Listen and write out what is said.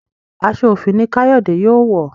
aṣọ òfì ní Kayode yóò wọ